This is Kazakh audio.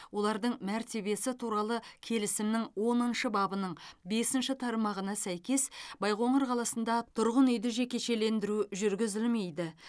олардың мәртебесі туралы келісімнің оныншы бабының бесінші тармағына сәйкес байқоңыр қаласында тұрғын үйді жекешелендіру жүргізілмейді